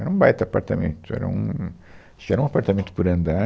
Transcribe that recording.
Era um baita apartamento, era um, acho que era um apartamento por andar.